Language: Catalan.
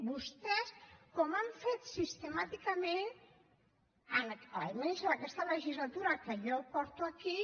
vostès com ho han fet sistemàticament almenys en aquesta legislatura que jo porto aquí